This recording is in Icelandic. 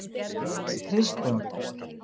Kristjón